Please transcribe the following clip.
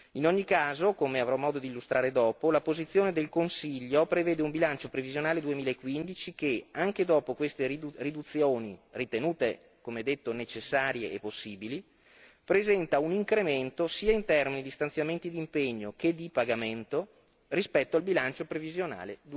In ogni caso, come avrò modo di illustrare dopo, la posizione del Consiglio prevede un bilancio previsionale 2015 che, anche dopo queste riduzioni, ritenute, come detto, necessarie e possibili, presenta un incremento sia in termini di stanziamenti di impegno sia di pagamento rispetto al bilancio previsionale